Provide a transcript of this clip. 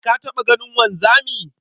Ka taɓa ganin wanzami?